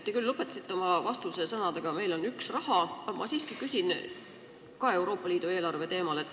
Te küll lõpetasite oma vastuse sõnadega, et meil on üks raha, aga ma siiski küsin ka Euroopa Liidu eelarve teemal.